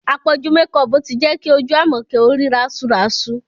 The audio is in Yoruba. Àpọ̀jù mekọọ̀pù ti jẹ́ kí ojú Àmọ̀kẹ́ ó rí rásuràsu